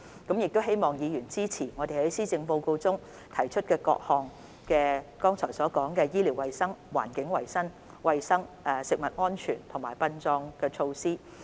我希望議員支持我們在施政報告中提出和剛才所述關於醫療衞生、環境衞生、食物安全及殯葬等事宜的各項措施。